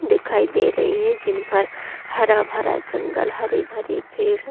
दिखाई दे रही है जिन पर हरा-भरा जंगल हरे-भरे पेड़ --